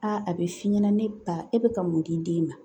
Aa a bɛ f'i ɲɛna ne ba e bɛ ka mun di den ma